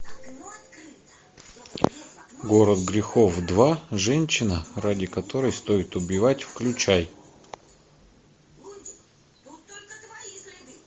город грехов два женщина ради которой стоит убивать включай